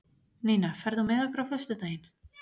Nína, ferð þú með okkur á föstudaginn?